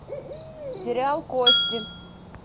сериал кости